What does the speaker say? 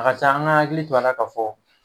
A ka can an k'an hakili to a la ka fɔ